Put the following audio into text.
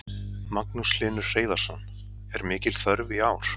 Magnús Hlynur Hreiðarsson: Er mikil þörf í ár?